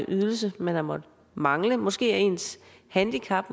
ydelse man har måttet mangle og måske er ens handicap